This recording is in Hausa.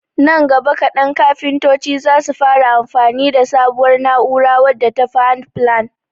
nan gaba kadan kafintoci zasu fara amfani da sabuwar na'ura wadda tafi handplane